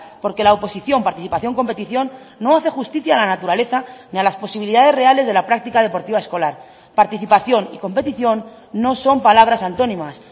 porque la oposición participación competición no hace justicia a la naturaleza ni a las posibilidades reales de la práctica deportiva escolar participación y competición no son palabras antónimas